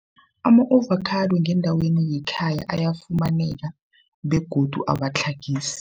Ama-avocado ngendaweni yekhaya ayafumaneka begodu awatlhagisi.